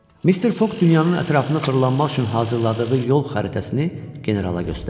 Mister Foq dünyanın ətrafına fırlanmaq üçün hazırladığı yol xəritəsini generala göstərdi.